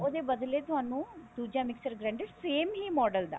ਉਹਦੇ ਬਦਲੇ ਤੁਹਾਨੂੰ ਦੁੱਜਾ mixer grinder same ਹੀ model ਦਾ